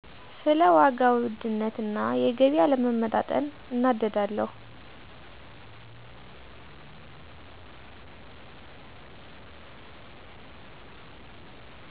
ስለ ዋጋ ውድነት እና የገቢ አለመመጣጠን እናደዳለሁ።